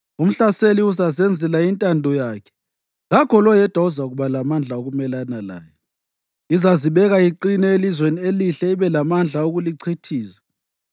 Umhlaseli uzazenzela intando yakhe, kakho loyedwa ozakuba lamandla okumelana laye. Izazibeka iqine eLizweni Elihle ibe lamandla okulichithiza.